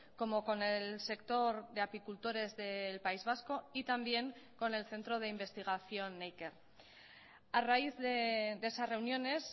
como con el sector de apicultores del país vasco y también con el centro de investigación neiker a raíz de esas reuniones